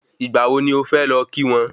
Ìgbà wo ni ọ fẹ lọ kí wọ́n?